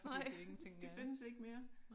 Nej de findes ikke mere